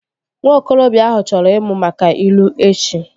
Nwa okorobịa ahụ chọrọ ịmụ maka ilu echi